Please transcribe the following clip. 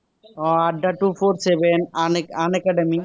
আহ at the two four seven un unacademy